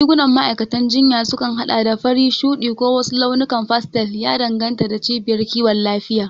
Rigunan ma'aikatan jinya sukan haɗa da fari, shuɗi, ko wasu launukan pastel, ya danganta da cibiyar kiwon lafiya.